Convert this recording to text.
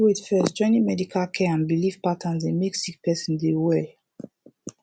wait first joining medical care and bilif patterns dey mek sik peron dey well